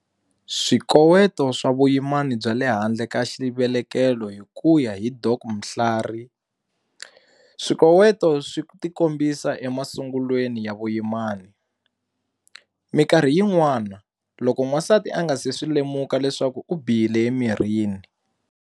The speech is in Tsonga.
Swikoweto swa vuyimani bya le handle ka xivelekelo Hikuya hi Dok Mhlari, swikoweto swi ti kombisa emasungulweni ya vuyimani. Mikarhi yin'wama, loko wansati a nga se swi lemuka leswaku u bihile emirini.